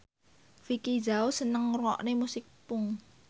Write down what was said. Vicki Zao seneng ngrungokne musik punk